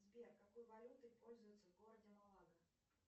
сбер какой валютой пользуются в городе малага